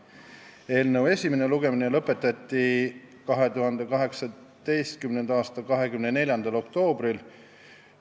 Eelnõu esimene lugemine lõpetati 2018. aasta 24. oktoobril.